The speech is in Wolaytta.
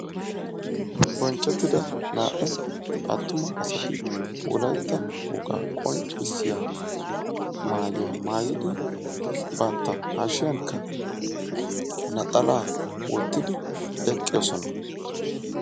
Bonchchettida naa"u aatuma asati wolaytta wogaa qonccisiyaa maayuwaa maayidi bantta hashshiyankka naxalaa wottidi eqqidosona.